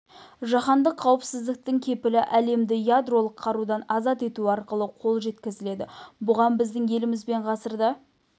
жаһандық қауіпсіздіктің кепілі әлемді ядролық қарудан азат ету арқылы қол жеткізіледі бұған біздің еліміз бен ғасырда